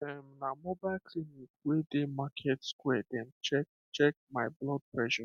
um na mobile clinic wey dey market square dem check check my blood pressure